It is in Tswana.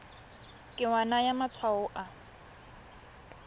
ke wa naya matshwao a